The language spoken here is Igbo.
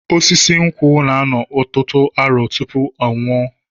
Osisi nkwụ na-anọ ọtụtụ arọ tụpụ ọnwụ ọ